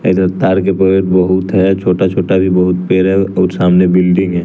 इधर तार के पेर बहुत हैं छोटा-छोटा भी बहुत पेर हैं और सामने बिल्डिंग है।